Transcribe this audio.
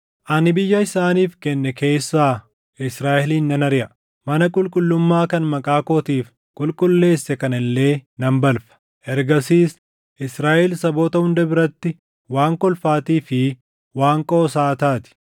ani biyya isaaniif kenne keessaa Israaʼelin nan ariʼa; mana qulqullummaa kan Maqaa kootiif qulqulleesse kana illee nan balfa. Ergasiis Israaʼel saboota hunda biratti waan kolfaatii fi waan qoosaa taati.